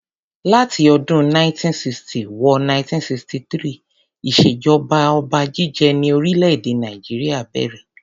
Láti ọdún 1960 wo 1963 ìṣèjọba ọba jíjẹ ni orílè-èdè Nàìjíríà bèrè.